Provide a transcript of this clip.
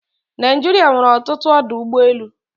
Naijiria nwere ọtụtụ ọdọ ụgbọelu